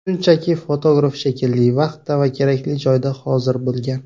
Shunchaki, fotograf kerakli vaqtda va kerakli joyda hozir bo‘lgan.